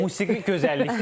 Musiqi gözəllikdir.